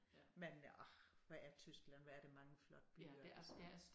Men orh hvor er Tyskland hvor er der bange flotte byer altså